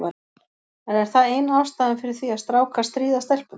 En er það eina ástæðan fyrir því að strákar stríða stelpum?